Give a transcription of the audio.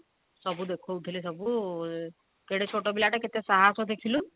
ସବୁ ଦେଖୋଉଥିଲେ ସବୁ କେଡେ ଛୋଟ ପିଲା ଟେ କେତେ ସାହସ ଦେଖିଲୁ